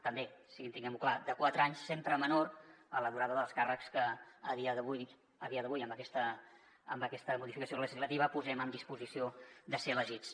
també o sigui tinguem ho clar de quatre anys sempre menor a la durada dels càrrecs que a dia d’avui amb aquesta modificació legislativa posem en disposició de ser elegits